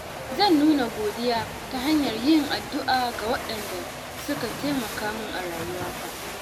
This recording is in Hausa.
Zan nuna godiya ta hanyar yin addu’a ga waɗanda suka taimaka min a rayuwata.